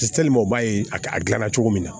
u b'a ye a a dilanna cogo min na